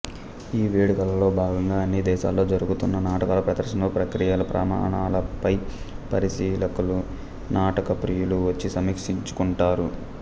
ఈ వేడుకలలో భాగంగా అన్ని దేశాల్లో జరుగుతున్న నాటకాలు ప్రదర్శనలు ప్రక్రియల ప్రమాణాలపై పరిశీలకులు నాటక ప్రియులు వచ్చి సమీక్షించుకుంటారు